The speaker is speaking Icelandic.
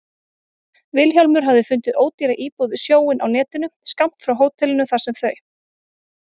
Vilhjálmur hafði fundið ódýra íbúð við sjóinn á netinu, skammt frá hótelinu þar sem þau